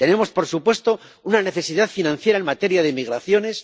Tenemos, por supuesto, una necesidad financiera en materia de migraciones